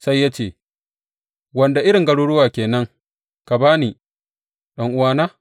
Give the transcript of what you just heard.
Sai ya ce, Wanda irin garuruwa ke nan ka ba ni, ɗan’uwana?